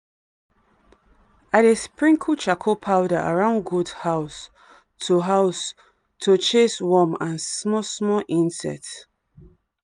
i dey sprinkle charcoal powder around goat house to house to chase worm and small-small insect.